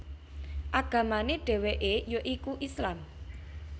Agamane dheweke ya iku Islam